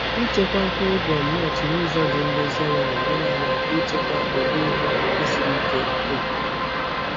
Ịchekwa mkpụrụ gwụndnut n’ụzọ dị nlezianya na-enyere anyị aka ịchekwa ụdị ihe ọkụkụ siri ike nke obodo.